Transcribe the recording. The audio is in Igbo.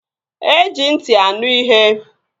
E ji ntị anụ ihe